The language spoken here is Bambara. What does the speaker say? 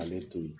Ale to yen